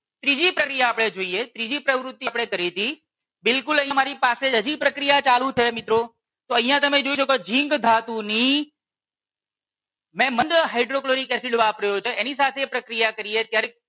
ત્રીજી પ્રવૃતિ આપણે જોઈએ ત્રીજી પ્રવૃતિ આપણે કરી હતી બિલકુલ અમારી પાસે હજી પ્રક્રિયા ચાલુ છે મિત્રો તો અહિયાં તમેં જોઈ શકો છો ઝીંક ધાતુની મેં મંદ હાઇડ્રોક્લોરિક એસિડ વાપર્યો હતો એની સાથે પ્રક્રિયા કરીએ ત્યારે